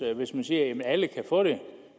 hvis man siger at alle kan få det